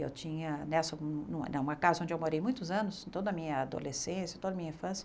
Eu tinha nessa numa não uma casa onde eu morei muitos anos, toda a minha adolescência, toda a minha infância.